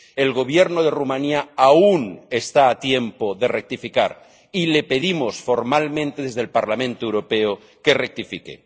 El Gobierno de Rumanía aún está a tiempo de rectificar, y le pedimos formalmente desde el Parlamento Europeo que rectifique.